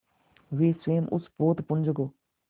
वे स्वयं उस पोतपुंज को